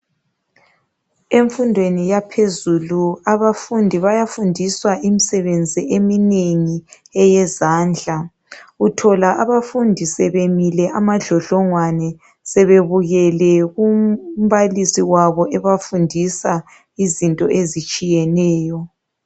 Emfundweni yaphezulu abafundi bayafundiswa imsebenzi eminengi eyezandla, uthola abafundi sebemile amadlodlongwani sebebukele kumbalisi wabo ebafundisa izinto ezitshiyeneyo